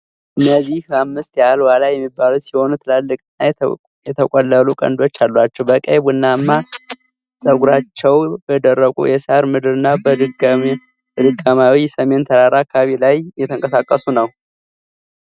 እነዚህ አምስት ያህል ዋልያ የሚባሉ ሲሆኑ፣ ትላልቅና የተቆለሉ ቀንዶች አሏቸው። በቀይ ቡናማ ጸጉራቸው በደረቁ የሣር ምድርና በድንጋያማው የሰሜን ተራራ አካባቢ ላይ እየተንቀሳቀሱ ነው።